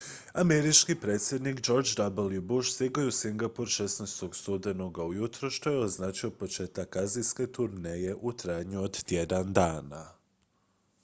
američki predsjednik george w bush stigao je u singapur 16. studenoga ujutro što je označilo početak azijske turneje u trajanju od tjedan dana